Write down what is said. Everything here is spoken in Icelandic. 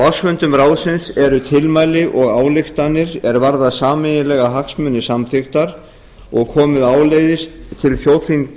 ársfundum ráðsins eru tilmæli og ályktanir er varða sameiginlega hagsmuni samþykktar og komið áleiðis til þjóðþinga